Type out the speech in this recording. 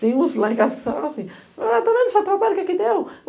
Tem uns lá em casa que falam assim, tá vendo o seu trabalho que aqui deu?